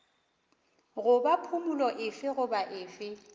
goba phumolo efe goba efe